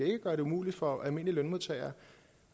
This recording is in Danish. ikke gøre det umuligt for almindelige lønmodtagere